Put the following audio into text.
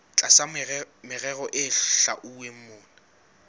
tlasa merero e hlwauweng mona